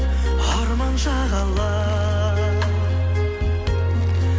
арман шағала